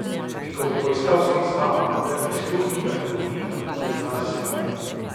In ko bo poiskal stik z vama, mu le prisluhnita in dovolita, da izrazi svoje mnenje.